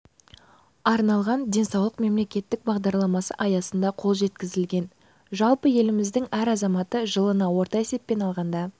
арналған денсаулық мемлекеттік бағдарламасы аясында қол жеткізілген жалпы еліміздің әр азаматы жылына орта есеппен алғанда